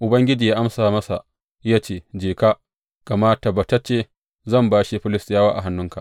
Ubangiji ya amsa masa ya ce, Je ka, gama tabbatacce zan bashe Filistiyawa a hannunka.